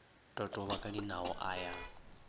totoba ka dinao a ya